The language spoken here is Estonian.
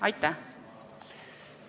Aitäh!